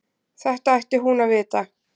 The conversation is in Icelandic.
Þetta ætti hún að vita.